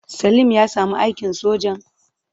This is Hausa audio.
Salim ya sami aikin sojan?